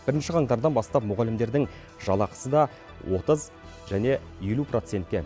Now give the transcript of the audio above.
бірінші қаңтардан бастап мұғалімдердің жалақысы да отыз және елу процентке